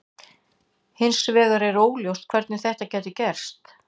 Hins vegar var óljóst hvernig þetta gæti gerst.